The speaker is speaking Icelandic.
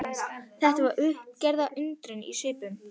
Það var uppgerðar undrun í svipnum.